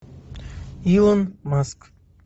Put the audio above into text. илон маск